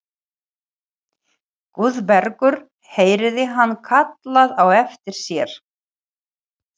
Guðbergur heyrði hann kallað á eftir sér.